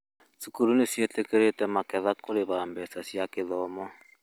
Thukuru nĩ ciĩtĩkĩrĩte magetha kũrĩha mbeca cia gĩthomo